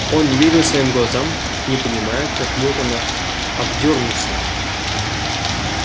он не верил своим глазам не понимая как мог он обдёрнуться